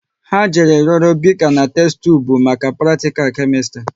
Ha jere yoro bika na testubu maka pratikal Kemistri